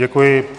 Děkuji.